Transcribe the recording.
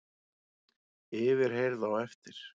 Yfirheyrð á eftir